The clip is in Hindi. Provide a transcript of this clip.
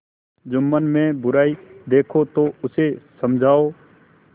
जुम्मन में बुराई देखो तो उसे समझाओ